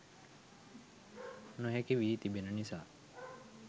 නොහැකි වී තිබෙන නිසා